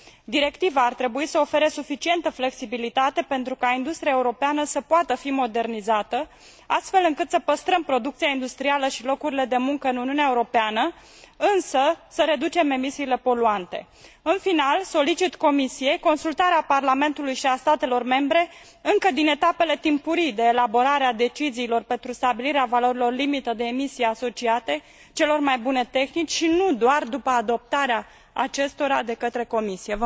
Directiva ar trebui să ofere suficientă flexibilitate pentru ca industria europeană să poată fi modernizată, astfel încât să păstrăm producția industrială și locurile de muncă în Uniunea Europeană, însă, să reducem emisiile poluante. În final, solicit Comisiei consultarea Parlamentului și a statelor membre încă din etapele timpurii de elaborare a deciziilor pentru stabilirea valorilor limită de emisie asociate celor mai bune tehnici și nu doar după adoptarea acestora de către Comisie.